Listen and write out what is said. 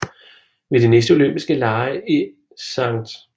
Ved de næste Olympiske Lege i St